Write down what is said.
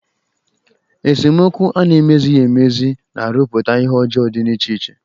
Esemokwu a na-emezighi emezi na-arụputa ihe ọjọọ dị iche iche.